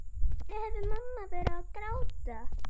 Af hverju hafði mamma verið að gráta?